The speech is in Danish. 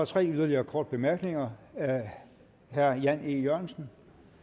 tre yderligere korte bemærkninger herre jan e jørgensen